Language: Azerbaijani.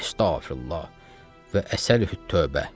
Əstəğfirullah və əsəlüt-tövbə.